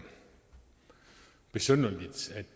besynderligt at